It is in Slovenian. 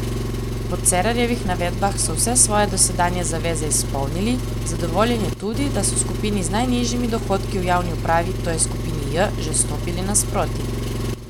Po Cerarjevih navedbah so vse svoje dosedanje zaveze izpolnili, zadovoljen je tudi, da so skupini z najnižjimi dohodki v javni upravi, to je skupini J, že stopili naproti.